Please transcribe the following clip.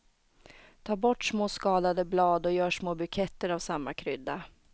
Ta bort små skadade blad och gör små buketter av samma krydda.